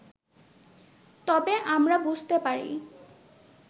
তবে আমরা বুঝতে পারি